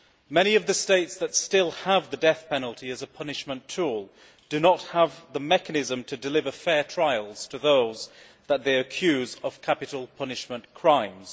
Many of the states that still have the death penalty as a punishment tool do not have the mechanism to deliver fair trials to those that they accuse of capital punishment crimes.